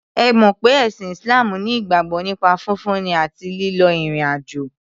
Ẹ mọ̀ pé ẹ̀sìn Islam ní ìgbàgbọ́ nípa fífúnni àti lílọ ìrìn àjò.